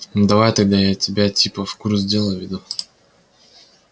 ну давай тогда я тебя типа в курс дела введу